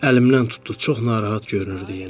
Əlimdən tutdu, çox narahat görünürdü yenə.